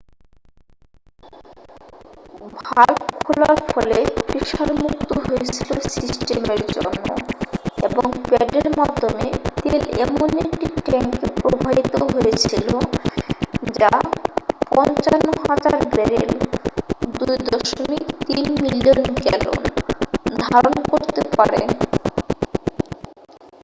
Valve খোলার ফলে pressure মুক্ত হয়েছিল সিস্টেমের জন্য এবং প্যাডের মাধ্যমে তেল এমন একটি ট্যাঙ্কে প্রবাহিত হয়েছিল যা 55,000 ব্যারেল 2.3 মিলিয়ন গ্যালন ধারন করতে পারে।